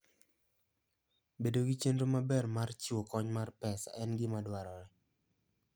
Bedo gi chenro maber mar chiwo kony mar pesa en gima dwarore.